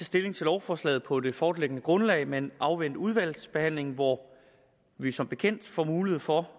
stilling til lovforslaget på det foreliggende grundlag men afvente udvalgsbehandlingen hvor vi som bekendt får mulighed for